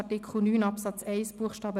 Das steht in Artikel 9 Absatz 1 Buchstabe